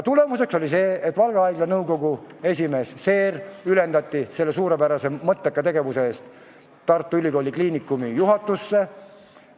Tulemuseks oli see, et Valga haigla nõukogu esimees Seer ülendati selle suurepärase ja mõtteka tegevuse eest Tartu Ülikooli Kliinikumi juhatusse.